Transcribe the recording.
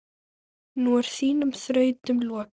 Nú er þínum þrautum lokið.